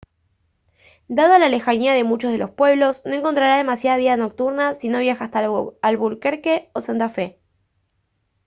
dada la lejanía de muchos de los pueblos no encontrará demasiada vida nocturna si no viaja hasta albuquerque o santa fe